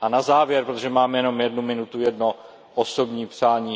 A na závěr, protože mám jenom jednu minutu, jedno osobní přání.